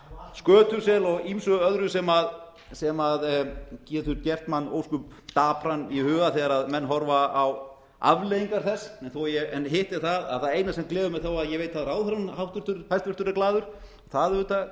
skötusel og ýmsu öðru sem getur gert mann ósköp dapran í huga þegar menn horfa á afleiðingar þess en hitt er það að það eina sem gleður mig þó að ég veit að ráðherrann hæstvirtur er glaður það auðvitað